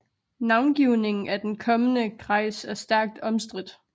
Navngivningen af den kommende kreis er stærkt omstridt